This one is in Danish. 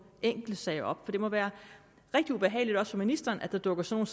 enkeltsager op for det må være rigtig ubehageligt også for ministeren at der dukker sådan